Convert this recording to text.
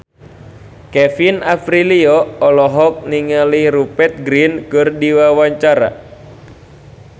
Kevin Aprilio olohok ningali Rupert Grin keur diwawancara